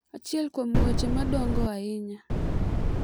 Achiel kuom weche madongo ahinya